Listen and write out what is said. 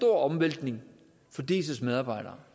omvæltning for diis medarbejdere